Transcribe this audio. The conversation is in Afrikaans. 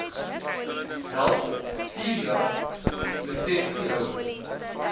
help vierjaar lisensiehouers